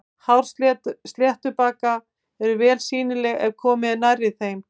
Hár sléttbaka eru vel sýnileg ef komið er nærri þeim.